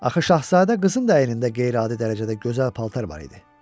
Axı şahzadə qızın da əynində qeyri-adi dərəcədə gözəl paltar var idi.